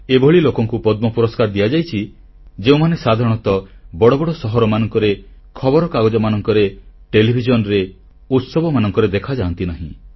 ଏଭଳି ଲୋକଙ୍କୁ ପଦ୍ମ ପୁରସ୍କାର ଦିଆଯାଇଛି ଯେଉଁମାନେ ସାଧାରଣତଃ ବଡ଼ ବଡ଼ ସହରମାନଙ୍କରେ ଖବରକାଗଜମାନଙ୍କରେ ଟେଲିଭିଜନରେ ଉତ୍ସବମାନଙ୍କରେ ଦେଖାଯାଆନ୍ତି ନାହିଁ